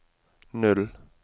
null